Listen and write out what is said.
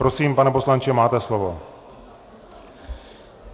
Prosím, pane poslanče, máte slovo.